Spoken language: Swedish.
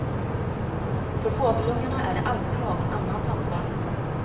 För fågelungarna är det alltid någon annans ansvar.